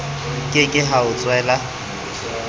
ke ke ha o tswela